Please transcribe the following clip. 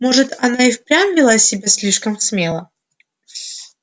может она и впрямь вела себя слишком смело